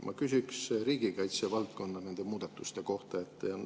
Ma küsiks riigikaitsevaldkonna muudatuste kohta.